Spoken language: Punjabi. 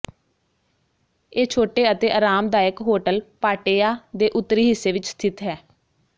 ਇਹ ਛੋਟੇ ਅਤੇ ਆਰਾਮਦਾਇਕ ਹੋਟਲ ਪਾਟੇਯਾ ਦੇ ਉੱਤਰੀ ਹਿੱਸੇ ਵਿਚ ਸਥਿਤ ਹੈ